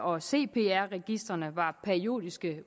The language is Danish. og cpr registrene var periodisk